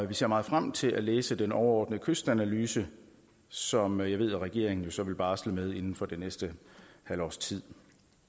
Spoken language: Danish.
vi ser meget frem til at læse den overordnede kystanalyse som jeg ved regeringen jo så vil barsle med inden for det næste halve års tid